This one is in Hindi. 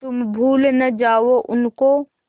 तुम भूल न जाओ उनको